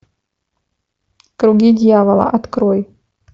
круги дьявола открой